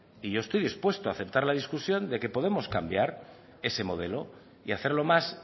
y yo estoy dispuesto a aceptar la discusión de que podemos cambiar ese modelo y hacerlo más